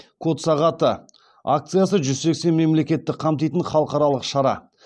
код сағаты акциясы жүз сексен мемлекетті қамтитын халықаралық шара